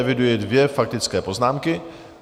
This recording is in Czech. Eviduji dvě faktické poznámky.